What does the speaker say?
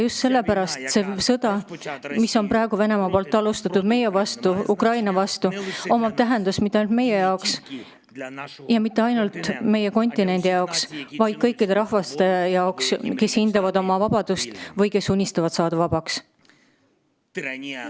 Just sellepärast on sõjal, mida Venemaa on alustanud meie vastu, Ukraina vastu, tähendus mitte ainult meie jaoks ja mitte ainult meie kontinendi jaoks, vaid kõikide rahvaste jaoks, kes hindavad oma vabadust või kes unistavad vabaks saamisest.